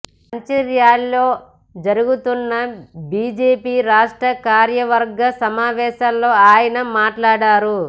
మంచిర్యాలలో జరుగుతున్న బిజెపి రాష్ట్ర కార్యవర్గ సమావేశాల్లో ఆయన మాట్లాడారు